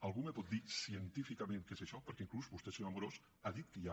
algú me pot dir científicament què és això perquè inclús vostè senyor amorós ha dit que hi ha